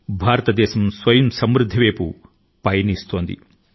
భారతదేశం స్వావలంబన వైపు అడుగు లు వేస్తోంది